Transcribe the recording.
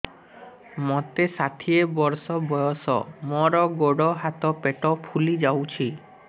ମୋତେ ଷାଠିଏ ବର୍ଷ ବୟସ ମୋର ଗୋଡୋ ହାତ ପେଟ ଫୁଲି ଯାଉଛି